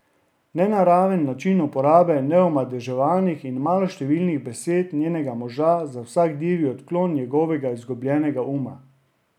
Nenaraven način uporabe neomadeževanih in maloštevilnih besed njenega moža za vsak divji odklon njegovega izgubljenega uma.